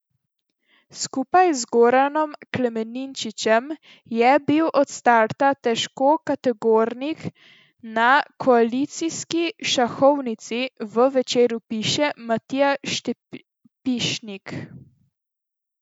Skupaj z Goranom Klemenčičem je bil od starta težkokategornik na koalicijski šahovnici, v Večeru piše Matija Stepišnik.